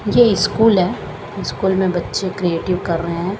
ये स्कूल है स्कूल में बच्चे क्रेटिव कर रे है।